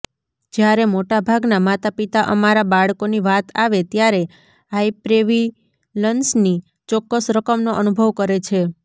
જ્યારે મોટાભાગના માતાપિતા અમારા બાળકોની વાત આવે ત્યારે હાઈપ્રેવિલન્સની ચોક્કસ રકમનો અનુભવ કરે છે